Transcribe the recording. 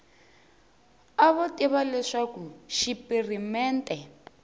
a vo tiva leswaku xipirimente